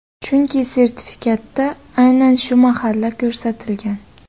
Chunki sertifikatda aynan shu mahalla ko‘rsatilgan.